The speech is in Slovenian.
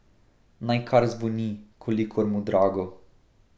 Naj kar zvoni, kolikor mu drago.